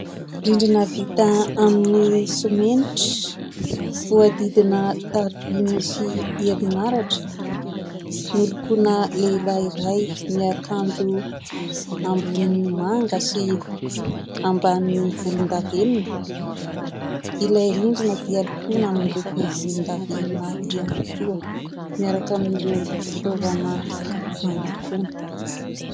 Rindrina vita amin'ny simenitra voadidina tarby misy herinaratra nolokoana lehilahy iray miakanjo ambonin'ny manga sy amban'ny volindavenina, ilay rindrina dia lokoana amin'ny loko volindavenina ihany koa miaraka amin'ireo fitovana fandokoana.